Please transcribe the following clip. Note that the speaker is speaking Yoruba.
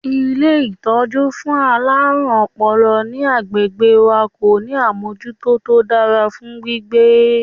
Ilé ìtọ́jú fún àwọn alárùn ọpọlọ ní agbègbè wa kò ní àmọ́jútó tó dára fún gbígbé.